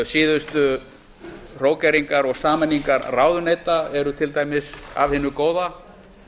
síðustu hrókeringar og sameiningar ráðuneyta eru til dæmis af hinu góða